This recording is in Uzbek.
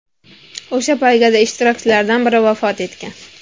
O‘sha poygada ishtirokchilardan biri vafot etgan.